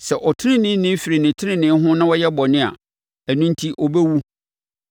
Sɛ ɔteneneeni firi ne tenenee ho na ɔyɛ bɔne a, ɛno enti ɔbɛwu.